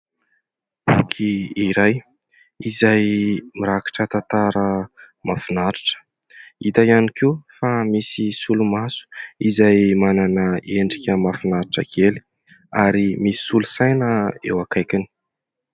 Boky iray izay mirakitra tantara mahafinaritra, hita ihany koa fa misy solomaso izay manana endrika mahafinaritra kely ary misy solosaina eo akaikiny.